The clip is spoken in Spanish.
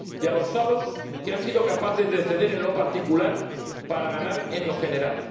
Y también a los hados que han sido capaces de ceder en lo particular para ganar en lo general.